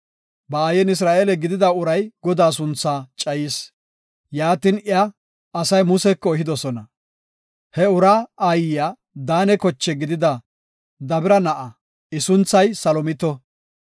Ba aayen Isra7eele gidida uray Godaa sunthaa cayis; yaatin iya asay Museko ehidosona. He uraa aayiya Daane koche gidida Debira na7a. I sunthay Salomito.